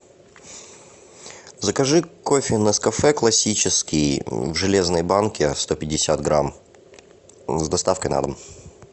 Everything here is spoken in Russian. закажи кофе нескафе классический в железной банке сто пятьдесят грамм с доставкой на дом